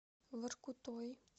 воркутой